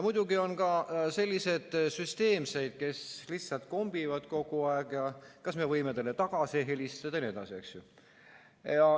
Muidugi on ka selliseid süsteemseid, kes lihtsalt kombivad kogu aeg: kas me võime teile tagasi helistada jne.